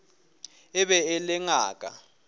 e be e le ngaka